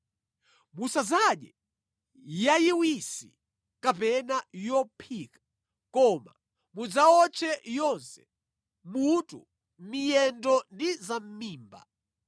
Musadzadye yayiwisi kapena yophika, koma mudzawotche yonse, mutu, miyendo ndi zamʼmimba.